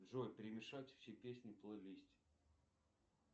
джой перемешать все песни в плейлисте